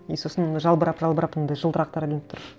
и сосын жалбырап жалбырап мындай жылтырақтар ілініп тұр